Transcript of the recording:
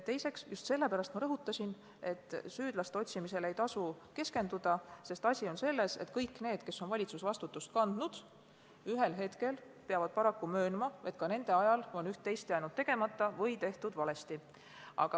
Teiseks, ma rõhutasin, et ei tasu keskenduda süüdlaste otsimisele, ja tegin seda just sellepärast, et kõik need, kes on kunagi valitsusvastutust kandnud, peavad paraku ühel hetkel möönma, et ka nende ajal on üht-teist jäänud tegemata või tehtud valesti.